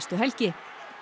helgi